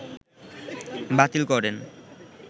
বাতিল করেন